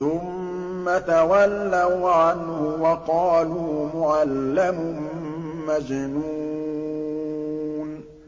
ثُمَّ تَوَلَّوْا عَنْهُ وَقَالُوا مُعَلَّمٌ مَّجْنُونٌ